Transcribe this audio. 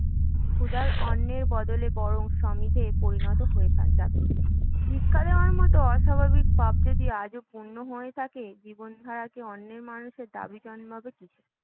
ক্ষুধার, অন্নের বদলে বরং সমিধে পরিণত হয়ে যাবে ভিক্ষা দেওয়ার মতো অস্বাভাবিক পাপ যদি আজও পুণ্য হয়ে থাকে, জীবনধারাকে অন্নে মানুষের দাবি জন্মাবে কিসে?